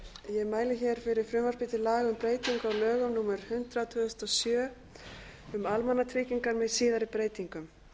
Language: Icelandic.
ég mæli hér fyrir frumvarpi til laga um breytingu á lögum númer hundrað tvö þúsund og sjö um almannatryggingar með síðari breytingum